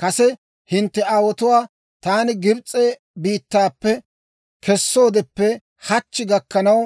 Kase hintte aawotuwaa taani Gibs'e biittaappe kessoodeppe hachchi gakkanaw,